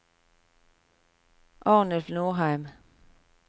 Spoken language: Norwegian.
Arnulf Nordheim